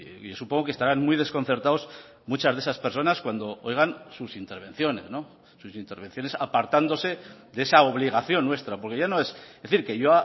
y supongo que estarán muy desconcertados muchas de esas personas cuando oigan sus intervenciones sus intervenciones apartándose de esa obligación nuestra porque ya no es es decir que yo